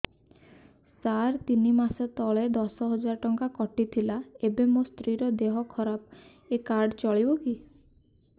ସାର ତିନି ମାସ ତଳେ ଦଶ ହଜାର ଟଙ୍କା କଟି ଥିଲା ଏବେ ମୋ ସ୍ତ୍ରୀ ର ଦିହ ଖରାପ ଏ କାର୍ଡ ଚଳିବକି